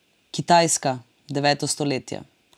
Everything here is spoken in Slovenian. Kitajska, deveto stoletje.